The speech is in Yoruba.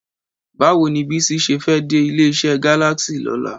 Báwo ni Bísí ṣe fẹ́ dé ilé-iṣẹ́ Galaxy lọ́la?